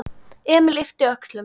Emil yppti öxlum.